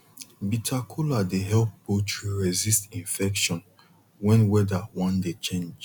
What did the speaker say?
bitter kola dey help poultry resist infection when weather wan dey change